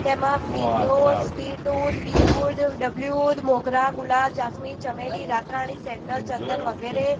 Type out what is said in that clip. તેમા ફિરડોઝ મોગરા ગુલાબ જાસ્મીન ચમેલી રાતરાણી સેન્ડલ ચંદન વગેરે--